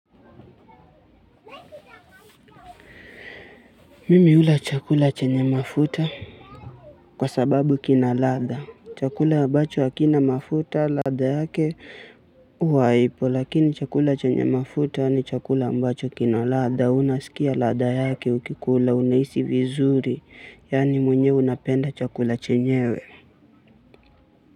Mimi hula chakula chenye mafuta kwa sababu kina ladha chakula ambacho hakina mafuta ladha yake huwa haipo lakini chakula chenye mafuta ni chakula ambacho kina ladha unasikia ladha yake ukikula unahisi vizuri yani mwenyewe unapenda chakula chenyewe.